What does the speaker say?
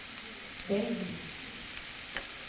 velg